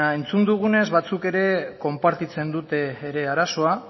entzun dugunez batzuk ere konpartitzen dute ere arazoa